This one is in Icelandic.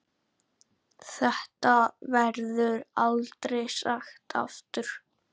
Þetta verður aldrei sagt aftur.